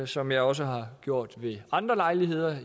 som jeg også har gjort ved andre lejligheder